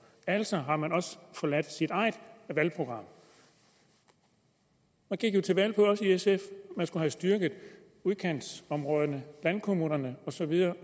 altså har man også forladt sig eget valgprogram man gik jo til valg på også i sf at man skulle have styrket udkantsområderne landkommunerne og så videre